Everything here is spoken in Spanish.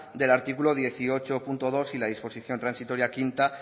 del artículo dieciocho punto dos y disposición transitoria quinta